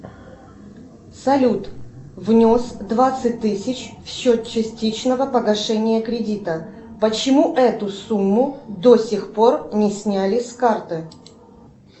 салют внес двадцать тысяч в счет частичного погашения кредита почему эту сумму до сих пор не сняли с карты